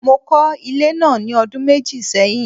Mo kọ́ ilé náà ní ọdún méjì sẹ́yìn.